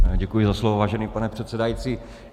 Děkuji za slovo, vážený pane předsedající.